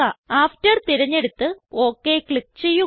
after തിരഞ്ഞെടുത്ത് OK click ചെയ്യുക